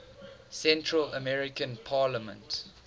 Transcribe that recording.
central american parliament